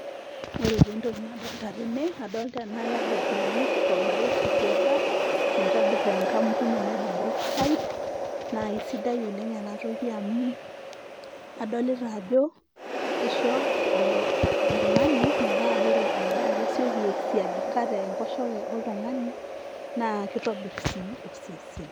Ore taa entoki nadolta tene, adolta ena yoghurt naji probiotic yoghurt ,naitobir enkampuni naji Brookside. Na aisidai oleng' enatoki amu adolita ajo, kisho oltung'ani metaa ore endaa kesioki aisiagika tenkoshoke oltung'ani, na kitobir si osesen.